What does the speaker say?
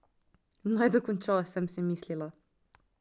Naj dokonča, sem si mislila.